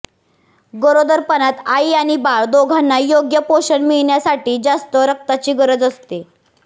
गरोदरपणात आई आणि बाळ दोघांना योग्य पोषण मिळण्यासाठी जास्त रक्ताची गरज असते